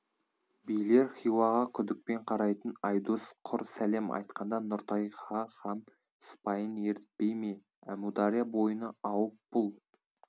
билер хиуаға күдікпен қарайтын айдос құр сәлем айтқанда нұртайға хан сыпайын ерітпейме әмудария бойына ауып бұл